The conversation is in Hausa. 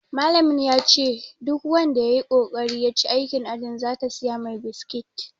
Malamin yace duk wanda yayi kokari ya ci aikin ajin zata siya mai biskit